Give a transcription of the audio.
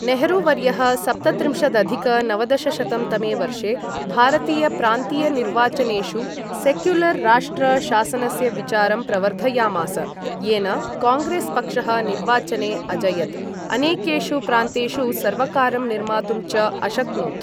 नेहरू वर्यः सप्तत्रिंशदधिक नवदशशतं तमे वर्षे भारतीय प्रान्तीय निर्वाचनेषु सेक्युलर् राष्ट्र शासनस्य विचारं प्रवर्धयामास, येन काङ्ग्रेस् पक्षः निर्वाचने अजयत्, अनेकेषु प्रान्तेषु सर्वकारं निर्मातुं च अशक्नोत्।